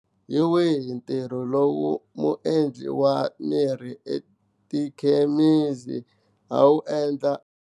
Hi wihi ntirho lowu muendli wa mirhi etikhemisi a wu endla.